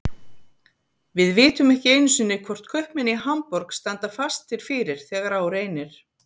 Við vitum ekki einu sinni hvort kaupmenn í Hamborg standa fastir fyrir þegar á reynir.